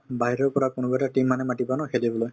বাহিৰৰ পৰা কোনোবা এটা team মানে মাতিবা ন খেলিবলৈ